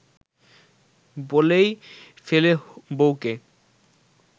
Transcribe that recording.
বলেই ফেলে বউকে